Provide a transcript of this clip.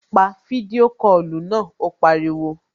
Pa fídíò kọlù náà, ó pariwo